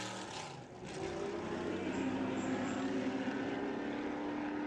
выведи мне признать невиновным